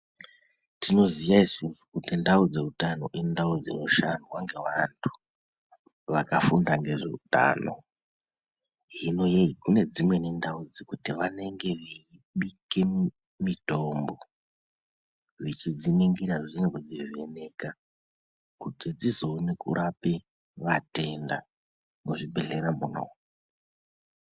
Tinoziya isusu kuti ndau dzeutano indau dzinoshandwa ngevantu vakafunda ngezveutano hino ye kune dzimweni ndau dzekuti vanenge veibike mutombo vechidzinikira zveshe nekudzivheneka kuti dzizokone kurapa matenda muzvibhedhleya munomu.